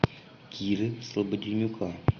киры слободенюка